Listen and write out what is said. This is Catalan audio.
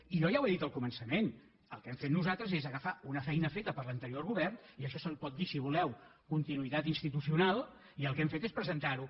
i jo ja ho he dit al comença·ment el que hem fet nosaltres és agafar una feina feta per l’anterior govern i a això se li pot dir si voleu continuïtat institucional i el que hem fet és presen·tar·ho